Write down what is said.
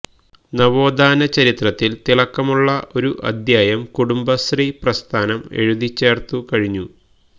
നവോത്ഥാന ചരിത്രത്തിൽ തിളക്കമുള്ള ഒരു അധ്യായം കുടുംബശ്രീ പ്രസ്ഥാനം എഴുതിച്ചേർത്തു കഴിഞ്ഞു